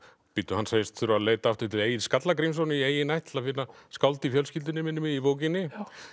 hann segist þurfa að leita aftur til Egils Skallagrímssonar í eigin ætt til að finna skáld í fjölskyldunni minnir mig í bókinni